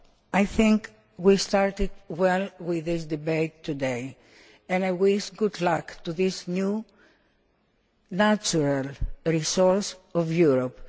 I think we have started well with this debate today and I wish good luck to this new, natural resource in Europe.